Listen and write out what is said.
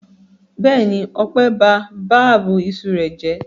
Bẹ́ẹ̀ni, Ọpẹ́ ba ab iṣu rẹ̀ jẹ́.